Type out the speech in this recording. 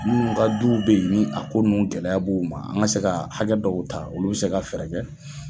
Munnu ka du be yen ni a ko nunnu gɛlɛya b'u ma an ga se ka hakɛ dɔw ta, olu bi se ka fɛɛrɛ kɛ